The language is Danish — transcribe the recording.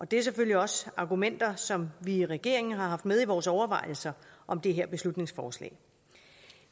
det er selvfølgelig også argumenter som vi i regeringen har haft med i vores overvejelser om det her beslutningsforslag